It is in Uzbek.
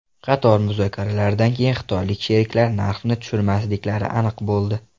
Qator muzokaralardan keyin xitoylik sheriklar narxni tushirmasliklari aniq bo‘ldi.